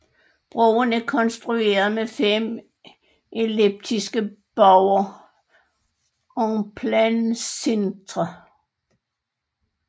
Broen er konstrueret med fem elliptiske buer en plein cintre